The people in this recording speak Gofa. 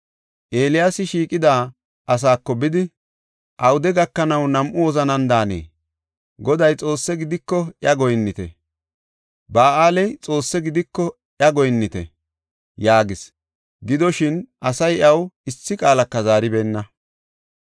Eeliyaasi shiiqida asaako bidi, “Awude gakanaw nam7u wozanan daanee? Goday Xoosse gidiko iya goyinnite; Ba7aaley Xoosse gidiko iya goyinnite” yaagis. Gidoshin, asay iyaw issi qaalaka zaaribeenna.